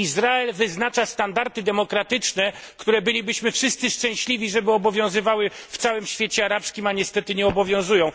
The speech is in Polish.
Izrael wyznacza standardy demokratyczne, które bylibyśmy wszyscy szczęśliwi, żeby obowiązywały w całym świecie arabskim, a niestety nie obowiązują.